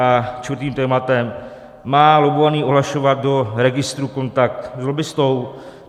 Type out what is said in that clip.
A čtvrtým tématem - má lobbovaný ohlašovat do registru kontakt s lobbistou?